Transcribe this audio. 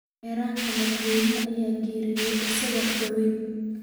Qareenka madaxweynaha ayaa geeriyooday isagoo aad u da’weyn.